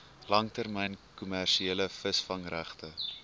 langtermyn kommersiële visvangregte